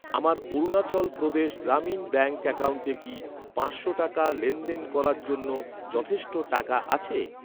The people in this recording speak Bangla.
আমার অরুণাচল প্রদেশ গ্রামীণ ব্যাঙ্ক অ্যাকাউন্টে কি পাঁচশো টাকা লেনদেন করার জন্য যথেষ্ট টাকা আছে?